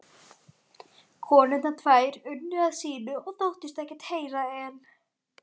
konurnar tvær unnu að sínu og þóttust ekkert heyra en